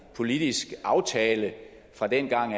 politisk aftale fra dengang